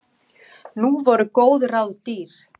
Nú voru góð ráð dýr!